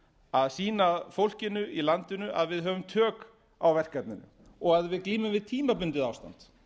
að sýna fólkinu í landinu að við höfum tök á verkefninu og að við glímum við tímabundið ástand